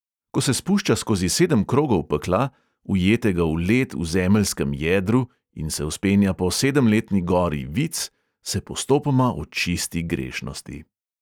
Ko se spušča skozi sedem krogov pekla, ujetega v led v zemeljskem jedru, in se vzpenja po sedemletni gori vic, se postopoma očisti grešnosti.